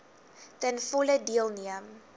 ten volle deelneem